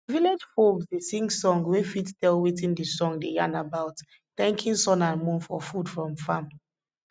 village folks dey sing song wey fit tell wetin d song dey yarn about thanking sun and moon for food from farm